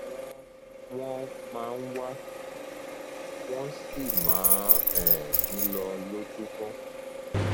wọn wọn máa ń wá wọn sì máa ń um lọ lójúmọ